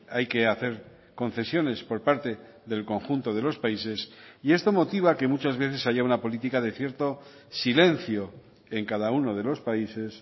hay que hacer concesiones por parte del conjunto de los países y esto motiva que muchas veces haya una política de cierto silencio en cada uno de los países